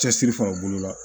Cɛsiri fana o bolo la